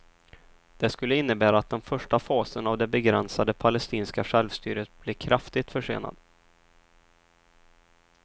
Det skulle innebära att den första fasen av det begränsade palestinska självstyret blir kraftigt försenad.